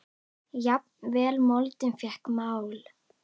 Jafnvel moldin fékk mál.